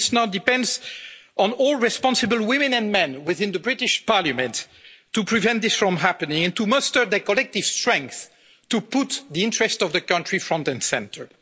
And it now depends on all responsible women and men within the British Parliament to prevent this from happening and to muster their collective strength to put the interests of the country front and centre.